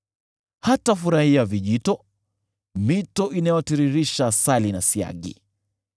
Hatafurahia vijito, mito inayotiririsha asali na siagi.